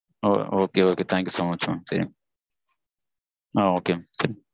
okay okay thank you so much mam okay